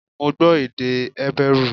Mo gbọ́ èdè Hébérù